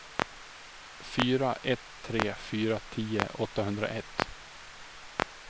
fyra ett tre fyra tio åttahundraett